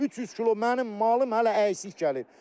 300 kilo mənim malım hələ əksik gəlir.